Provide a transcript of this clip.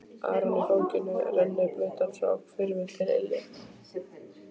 Arnór í fanginu, rennblautan frá hvirfli til ilja.